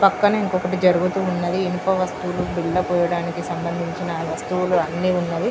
పక్కనే ఇంకొంకటి జరుగుతూ ఉన్నది ఇంకొంక వస్తువు కింద పోయడానికి సంబందించిన వస్తువులు అన్ని ఉన్నవి